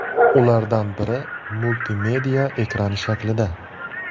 Ulardan biri multimedia ekrani shaklida.